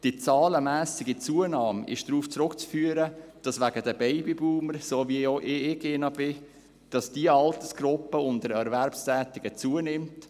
Die zahlenmässige Zunahme ist darauf zurückzuführen, dass wegen der Babyboomer – wie ich auch einer bin – diese Altersgruppe unter den Erwerbstätigen zunimmt.